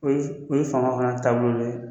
O ye fanga fana taabolo dɔ ye